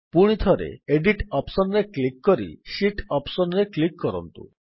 ପୁଣିଥରେ edit option ରେ click କରି ଶୀତ୍ ଅପ୍ସନ୍ ରେ କ୍ଲିକ୍ କରନ୍ତୁ